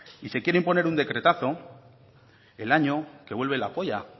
se quiere imponer un decretazo el año que vuelve la polla